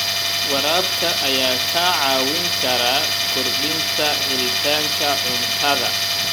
Waraabka ayaa kaa caawin kara kordhinta helitaanka cuntada.